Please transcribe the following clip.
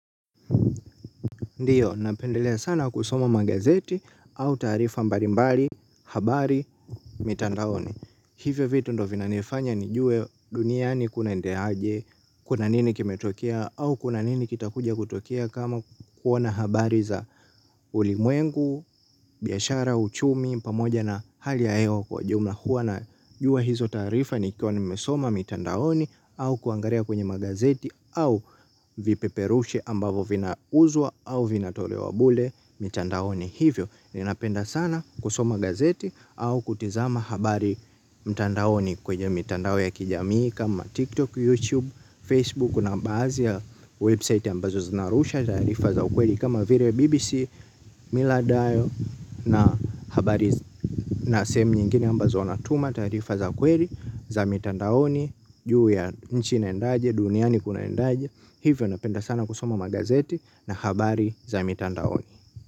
Ndiyo, napendelea sana kusoma magazeti au taarifa mbalimbali, habari, mitandaoni. Hivyo vitu ndo vinanifanya nijue duniani kunaendelea aje, kuna nini kimetokea au kuna nini kitakuja kutokea kama kuona habari za ulimwengu, biashara, uchumi, pamoja na hali ya hewa kwa jumla. Hua najua hizo taarifa nikiwa nimesoma mitandaoni au kuangalia kwenye magazeti au vipeperushe ambavo vina uzwa au vinatolewa bule mitandaoni hivyo ninapenda sana kusoma gazeti au kutizama habari mitandaoni kwenye mitandao ya kijamii kama tiktok, youtube, facebook kuna baadhi ya website ambazo zinarusha taarifa za ukweli kama vile bbc miladayo na habari. Na sahemu nyingine ambazo wanatuma taarifa za kweli, za mitandaoni, juu ya nchi inaendaje, duniani kuna endaje, hivyo napenda sana kusoma magazeti na habari za mitandaoni.